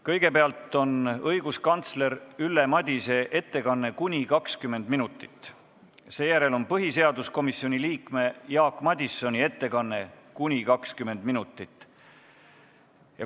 Kõigepealt on õiguskantsler Ülle Madise ettekanne kuni 20 minutit, seejärel on põhiseaduskomisjoni liikme Jaak Madisoni ettekanne kuni 20 minutit.